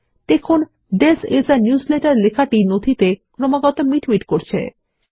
দেখুন this is a newsletter লেখাটি document এ ক্রমাগত মিটমিট করছে